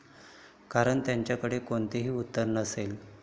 कारण त्यांच्याकडे कोणतेही उत्तर नसेल.